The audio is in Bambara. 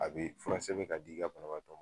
A be fura sɛbɛn ka di ka banabaatɔ ma